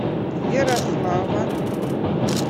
ярослава